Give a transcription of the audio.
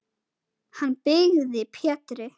Hann byggði Pétri